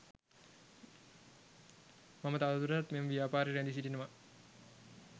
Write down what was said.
මම තවදුරටත් මෙම ව්‍යාපාරයේ රැඳී සිටිනවා.